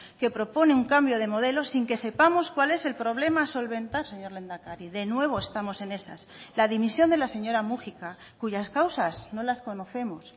que propone un cambio de modelo sin que sepamos cuál es el problema a solventar señor lehendakari de nuevo estamos en esas la dimisión de la señora múgica cuyas causas no las conocemos